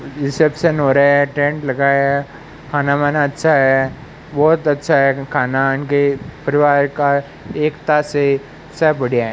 Reception हो रहा है टेंट लगा है खाना वाना अच्छा है बहोत अच्छा है खाना इनके परिवार का एकता से सब बढ़िया है।